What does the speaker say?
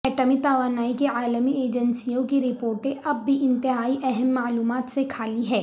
ایٹمی توانائی کی عالمی ایجنسیوں کی رپورٹیں اب بھی انتہائی اہم معلومات سے خالی ہیں